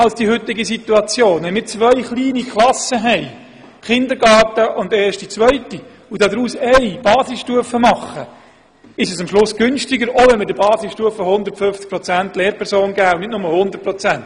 Wenn wir je eine kleine Klasse für den Kindergarten und für die erste und zweite Klasse führen und daraus eine einzige Basisstufen-Klasse schaffen, ist es am Ende preisgünstiger, auch wenn wir der Basisstufe 150 Stellenprozente geben, und nicht nur 100 Prozent.